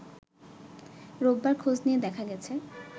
রোববার খোঁজ নিয়ে দেখা গেছে